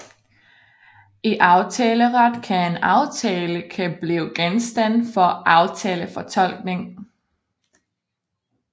I aftaleret kan en aftale kan blive genstand for aftalefortolkning